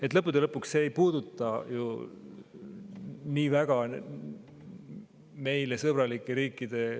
Aga lõppude lõpuks see ei puuduta nii väga suhteid meile sõbralike riikidega.